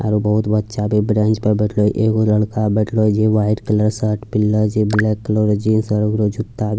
आरो बहुत बच्चा भी ब्रेंच पे बैठलो एगो लड़का बैठलो छे जे वाइट कलर शर्ट पिहनला छे ब्लैक कलर रा जींस आर ओकरो जुत्ता भी--